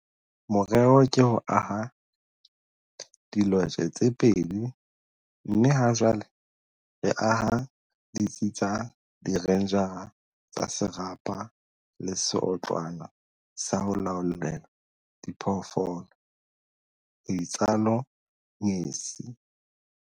"Morero ke ho aha dilotje tse pedi mme hajwale re aha ditsi tsa direnjara tsa serapa le seotlwana sa ho laollela diphoofolo," ho itsalo Ngesi.